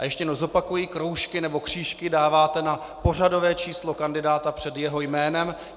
A ještě jednou zopakuji: Kroužky nebo křížky dáváte na pořadové číslo kandidáta před jeho jménem.